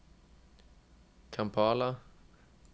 Kampala